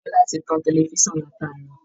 Biola ti tan tẹlifisan látàárọ̀